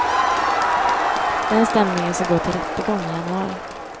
Den stämningen skall gå till rättegång i januari.